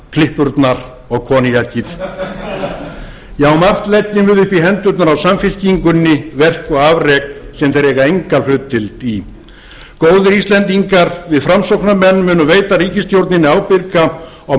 klippurnar og koníakið já margt leggjum við upp í hendurnar á samfylkingunni verk og afrek sem þeir eiga enga hlutdeild í góðir íslendingar við framsóknarmenn munum veita ríkisstjórninni ábyrga og